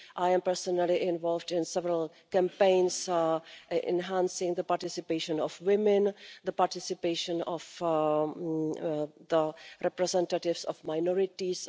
I am personally involved in several campaigns enhancing the participation of women and the participation of representatives of minorities.